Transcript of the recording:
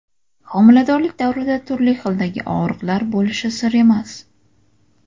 Homiladorlik davrida turli xildagi og‘riqlar bo‘lishi sir emas.